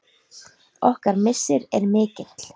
Okkar missir er mikill.